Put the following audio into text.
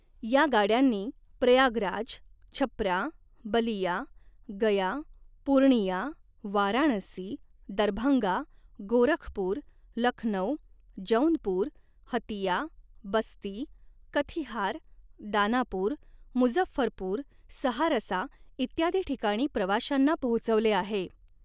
या गाड्यांनी प्रयागराज, छप्रा, बलिया, गया, पूर्णिया, वाराणसी, दरभंगा, गोरखपूर, लखनौ, जौनपुर, हतिया, बस्ती, कथिहार, दानापूर, मुझफ्फरपूर, सहारसा इत्यादी ठिकाणी प्रवाश्यांना पोहोचवले आहे.